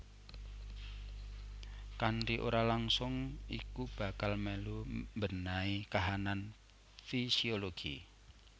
Kanthi ora langsung iku bakal melu mbenahi kahanan fisiologi